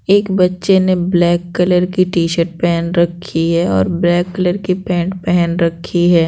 एक बच्चे ने ब्लैक कलर की टी-शर्ट पेहेन रखी है और ब्लैक कलर के पैंट पेहेन रखी है।